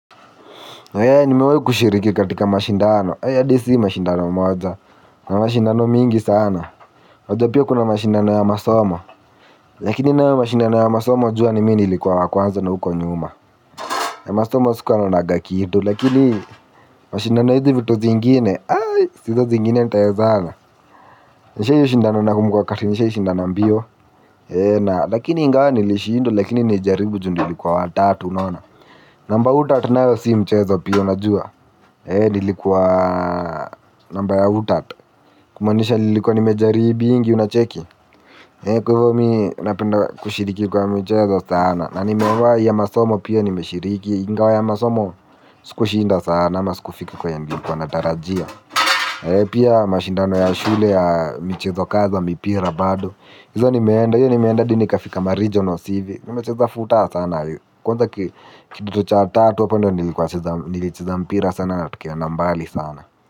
Ee nimewahi kushiriki katika mashindano, haiya hadi si mashindano moja, na mashindano mingi sana. Unajua pia kuna mashindano ya masomo, lakini nayo mashindano ya masomo jua ni mimi nilikuwa wa kwanza na huko nyuma. Ya masomo sikuwa naonanga kitu lakini mashindano ya hizi vitu zingine, aii, hizo zingine nitawezana. Nishai shindana na kumukwa wakati nishai shindana mbio, ee na lakini ingawa nilishindwa lakini nilijaribu juu nlikuwa watatu unaona. Namba utat nayo si mchezo pia unajua. Nilikuwa namba ya utat. Kumaanisha nilikuwa nimejaribingi unacheki. Kwa hivo mi napenda kushiriki kwa michezo sana. Na nimewahi ya masomo pia nimeshiriki. Ingawa ya masomo siku shinda sana. Na siku fika kwenye nilikuwa natarajia. Pia mashindano ya shule ya mchezo kadha mipira bado. Hizo nimeenda, hiyo nimeenda hadi nikafika maregionals hivi. Nimecheza futa sana wee. Kwanza kidato cha tatu hapo ndio nilikuwa nacheza nilicheza mpira sana na tukaenda mbali sana.